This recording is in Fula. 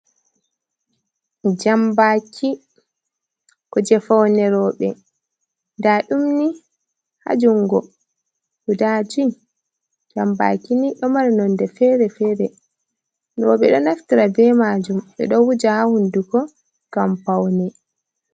"Jambaki" kuje faune roɓe nɗa ɗum ni ha jungo guda jui jambaki ni ɗo mari nonde fere fere roɓe do naftira be majum ɓeɗo wuja ha hunduko ngam paune.